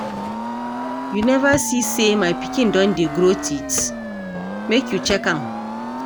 You neva see sey my pikin don dey grow teeth? make you check am.